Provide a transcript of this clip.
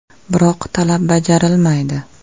Biroq talab bajarilmaydi.